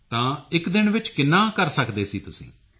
ਤਾਂ ਇੱਕ ਦਿਨ ਵਿੱਚ ਕਿੰਨਾ ਕਰ ਸਕਦੇ ਸੀ ਤੁਸੀਂ